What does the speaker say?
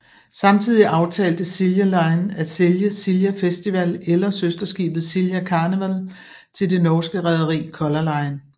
Samtidigt aftalte Silja Line at sælge Silja Festival eller søsterskibet Silja Karneval til det norske rederi Color Line